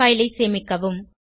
file ஐ சேமிக்கவும்